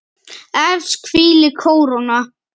Efst hvílir kóróna.